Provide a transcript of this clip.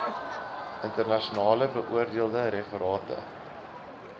internasionaal beoordeelde referate